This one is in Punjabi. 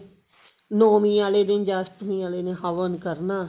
ਨੋਵੀਂ ਆਲੇ ਦਿਨ ਜਾਂ ਅਸ਼ਟਮੀ ਆਲੇ ਦਿਨ ਹਵਨ ਕਰਨਾ